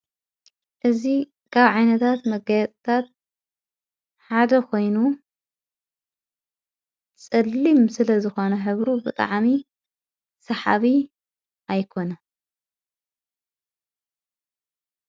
እዙ ጋብ ዓነታት መጋያፅታት ሓደ ኾይኑ ጸሊም ስለ ዝኾነ ሕብሩ ብጥዓሚ ሰሓቢ ኣይኮነን።